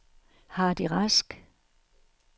Hardy Rask